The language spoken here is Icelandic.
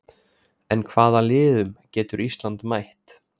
En hvaða liðum getur Ísland mætt?